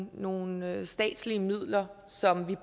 nogle nogle statslige midler som vi